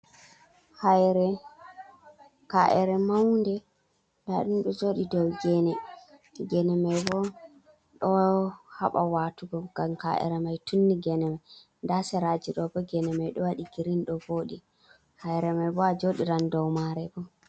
Haire, ka’ere maunde nda ɗum ɗo joɗi dou gene. Gene mai bo ɗo haɓa watugo ngam ka’ere mai tunni gene mai, nda seraje ɗo bo gene mai ɗo waɗi girin ɗo voɗi. Haire mai bo a joɗiran dou mare bo.